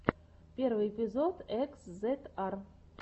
первый эпизод экс зет ар